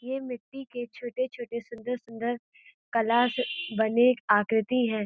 यह मिट्टी के छोटे-छोटे सुन्दर-सुन्दर कला से बने आकृति हैं।